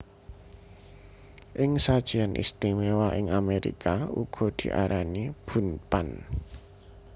Ing sajian istimewa ing Amerika uga diarani Bundt Pan